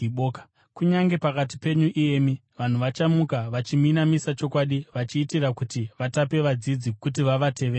Kunyange pakati penyu iyemi vanhu vachamuka vachiminamisa chokwadi vachiitira kuti vatape vadzidzi kuti vavatevere.